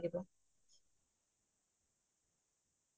ঘৰখনৰ পৰাই আৰম্ভ কৰিব লাগিব সেইটোয়ে কথা